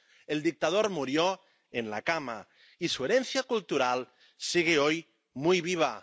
El dictador murió en la cama y su herencia cultural sigue hoy muy viva.